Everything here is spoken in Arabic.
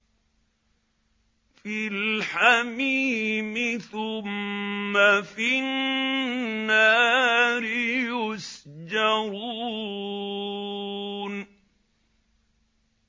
فِي الْحَمِيمِ ثُمَّ فِي النَّارِ يُسْجَرُونَ